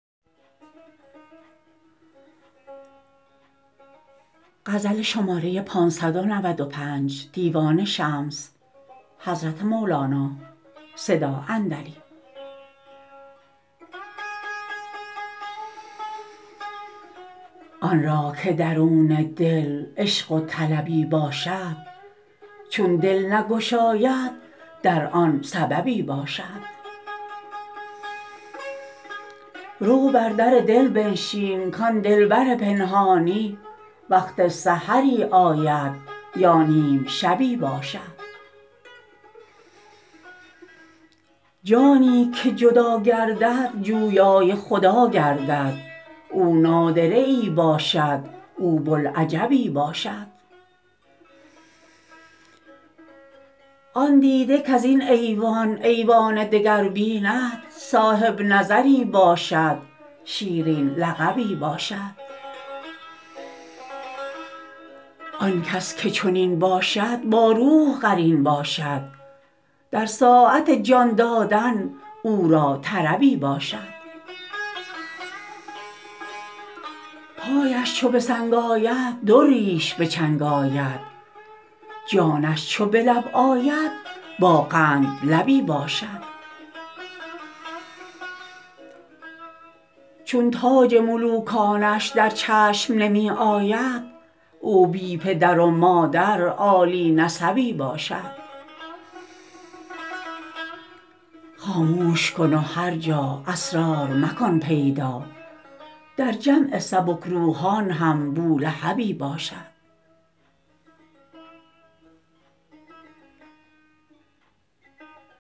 آن را که درون دل عشق و طلبی باشد چون دل نگشاید در آن را سببی باشد رو بر در دل بنشین کان دلبر پنهانی وقت سحری آید یا نیم شبی باشد جانی که جدا گردد جویای خدا گردد او نادره ای باشد او بوالعجبی باشد آن دیده کز این ایوان ایوان دگر بیند صاحب نظری باشد شیرین لقبی باشد آن کس که چنین باشد با روح قرین باشد در ساعت جان دادن او را طربی باشد پایش چو به سنگ آید دریش به چنگ آید جانش چو به لب آید با قندلبی باشد چون تاج ملوکانش در چشم نمی آید او بی پدر و مادر عالی نسبی باشد خاموش کن و هر جا اسرار مکن پیدا در جمع سبک روحان هم بولهبی باشد